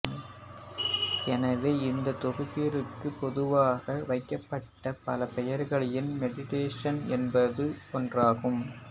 எனவே இந்த தொகுப்பிற்கு பொதுவாக வைக்கப்பட்ட பல பெயர்களில் மெடிடேசன்ஸ் என்பதும் ஒன்றாகும்